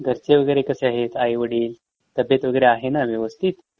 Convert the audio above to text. घरचे वगेरे कसे आहेत? आई वडील? तब्येत वगेरे आहे ना व्यवस्थित?